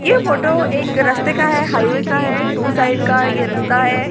ये फोटो एक रास्ते का है हाईवे का है टू साइड का ये रास्ता है।